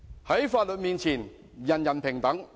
在法律面前，人人平等。